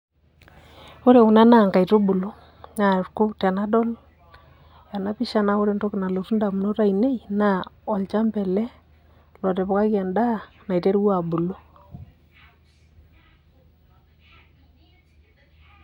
Ore kuna naa nkaitubulu, naa kum tenadol enapisha na ore entoki nalotu indamunot ainei, naa olchamba ele, lotipikaki endaa, naiterua abulu.